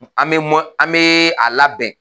An be mɔ, an be a labɛn